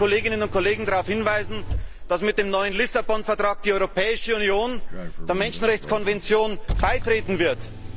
Ich darf die Kolleginnen und Kollegen darauf hinweisen, dass mit dem neuen Lissabon Vertrag die Europäische Union der Menschenrechtskonvention beitreten wird.